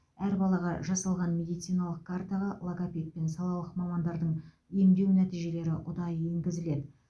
әр балаға жасалған медициналық картаға логопед пен салалық мамандардың емдеу нәтижелері ұдайы енгізіледі